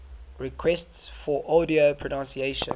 requests for audio pronunciation